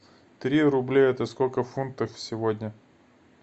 три рубля это сколько в фунтах сегодня